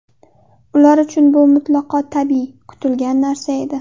Ular uchun bu mutlaqo tabiiy, kutilgan narsa edi.